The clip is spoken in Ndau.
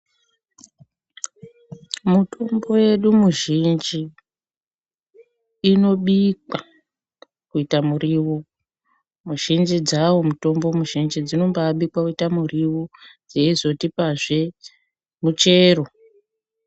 Mutombo yedu muzhinji inobikwa kuita muriwo muzhinji dzawo mutombo muzhinji dzinombabikwa kuita muriwo yeizotipazve muchero.